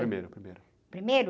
Primeiro, primeiro.rimeiro?